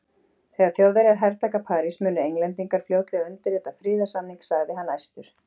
Þegar Þjóðverjar hertaka París munu Englendingar fljótlega undirrita friðarsamning sagði hann æstur.